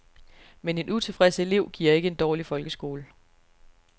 Men en utilfreds elev giver ikke en dårlig folkeskole.